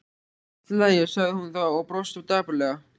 Allt í lagi sagði hún þá og brosti dapurlega.